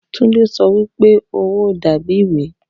Tunde sọ wìpe owo da bi iwe.